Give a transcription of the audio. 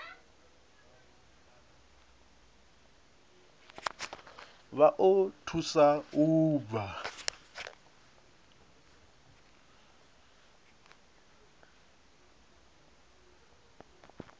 vha o thusa u bva